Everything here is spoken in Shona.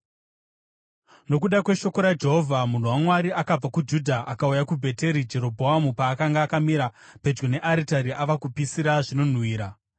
Nokuda kweshoko raJehovha munhu waMwari akabva kuJudha akauya kuBheteri, Jerobhoamu paakanga akamira pedyo nearitari ava kupirisa zvinonhuhwira.